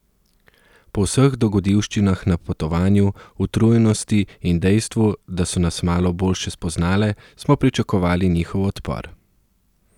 Po vseh dogodivščinah na potovanju, utrujenosti in dejstvu, da so nas malo boljše spoznale, smo pričakovale njihov odpor.